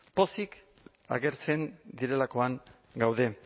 pozik agertzen direlakoan gaude